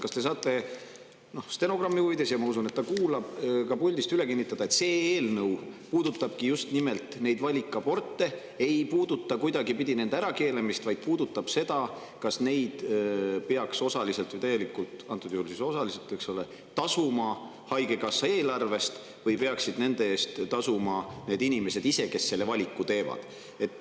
Kas te saate stenogrammi huvides puldist üle kinnitada – ma usun, et ta kuulab –, et see eelnõu puudutab just nimelt valikaborte, aga ta ei puuduta nende ärakeelamist, vaid seda, kas neid peaks osaliselt või täielikult tasuma haigekassa eelarvest – antud juhul siis osaliselt – või peaksid nende eest tasuma need inimesed ise, kes sellise valiku teevad.